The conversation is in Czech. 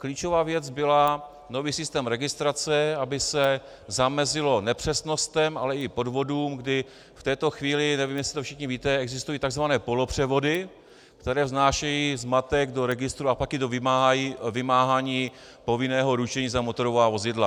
Klíčová věc byla nový systém registrace, aby se zamezilo nepřesnostem, ale i podvodům, kdy v této chvíli, nevím, jestli to všichni víte, existují tzv. polopřevody, které vznášejí zmatek do registru, a pak je to vymáhání povinného ručení za motorová vozidla.